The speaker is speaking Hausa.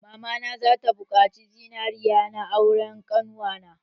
Mamana za ta buƙaci zinaria na auren ƙannuwa na.